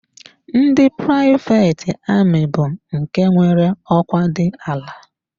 Ndị privet ami bụ nke nwere ọkwa dị ala.